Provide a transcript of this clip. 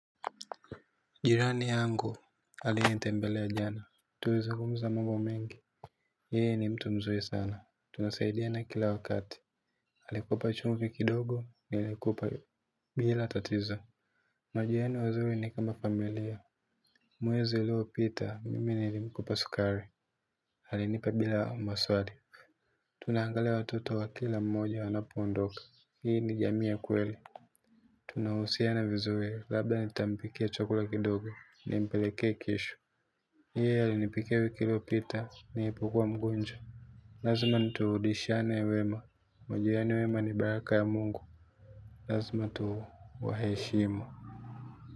Jirani yangu aliyenitembelea jana tulizungumza mambi mengi yeye ni mtu mzuri sana tunasaidiana kila wakati alikupa chumvi kidogo nilikupa. Bila tatizo. Majirani wazuri ni kama familia. Mwezei uliopita mimi nilimkopa sukari alinipa bila maswali. Tunaangalia watoto wa kila mmoja wanapoondoka hii ni jamii ya kweli. Tunahusiana vizuri labda nitampikia chakula kidogo nimpeleke kesho yeye alinipikia wiki iliopita nilipokuwa mgonjwa. Lazima turudishiane wema. Majirani wema ni baraka ya mungu. Lazima tuwaheshimu.